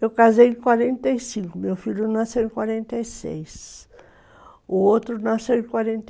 eu casei em quarenta e cinco, meu filho nasceu em quarenta e seis, o outro nasceu em quarenta e oito